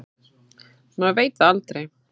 Maður veit það aldrei.